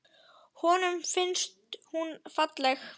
Honum finnst hún falleg.